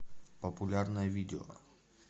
популярное видео